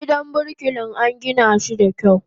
Gidan birkilan angina shi da kyau.